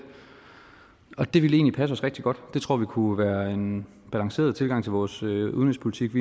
og det vil egentlig passe os rigtig godt det tror vi kunne være en balanceret tilgang til vores udenrigspolitik